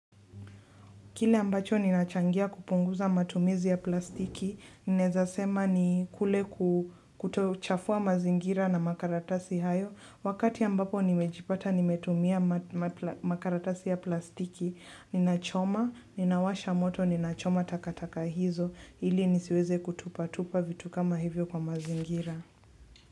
Kile ambacho ninachangia kupunguza matumizi ya plastiki. Ninaeza sema ni kule kutochafua mazingira na makaratasi hayo. Wakati ambapo nimejipata nimetumia makaratasi ya plastiki, ninachoma, ninawasha moto, ninachoma takataka hizo. Ili nisiweze kutupatupa vitu kama hivyo kwa mazingira.